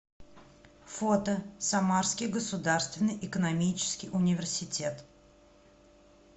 фото самарский государственный экономический университет